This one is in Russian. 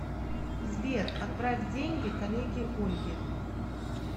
сбер отправь деньги коллеге ольге